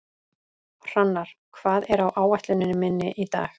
Hrannar, hvað er á áætluninni minni í dag?